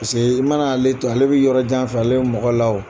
Paseke i mana ale to yen, ale bɛ yɔrɔ jan fɛ ale bɛ mɔgɔ la wo.